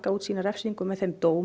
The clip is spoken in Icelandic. út sína refsingu með þeim dómi